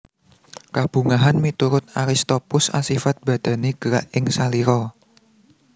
Kabungahan miturut Aristoppus asifat badani gerak ing salira